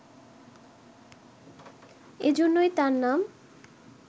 এজন্যই তার নাম